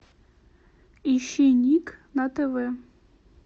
ищи ник на тв